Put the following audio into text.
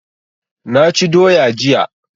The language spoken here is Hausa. Naci doya jiya